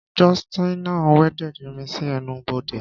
Justina welded irin si ẹnu-bode.